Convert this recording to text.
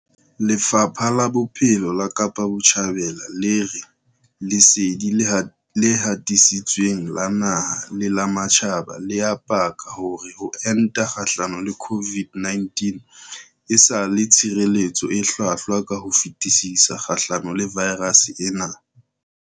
Lefapha la Bophelo la Kapa Botjhabela le re lesedi le hatisitsweng la naha le la matjhaba le a paka hore ho enta kgahlano le COVID-19 e sa le tshireletso e hlwahlwa ka ho fetisisa kgahlano le vaerase ena.